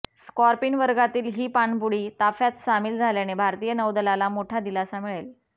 Scorpene वर्गातील ही पाणबुडी ताफ्यात सामील झाल्याने भारतीय नौदलाला मोठा दिलासा मिळेल